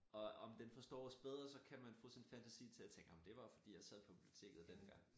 Og om den forstår os bedre så kan man få sin fantasi til at tænke ej men det var jo fordi jeg sad på biblioteket dengang